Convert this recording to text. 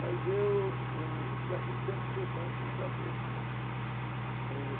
Mas eu eu... tinha aquele tempo, tinha o banco, o Bradesco, né? É...